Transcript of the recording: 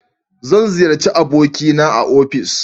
zan ziyarci aboki na a ofis